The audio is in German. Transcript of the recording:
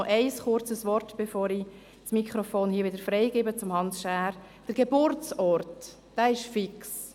Noch ein kurzes Wort zu Hans Schär, bevor ich das Mikrofon wieder freigebe: Der Geburtsort ist fix.